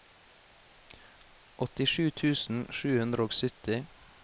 åttisju tusen sju hundre og sytti